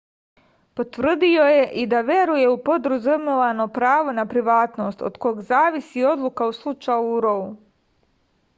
potvrdio je i da veruje u podrazumevano pravo na privatnost od kog zavisi odluka u slučaju rou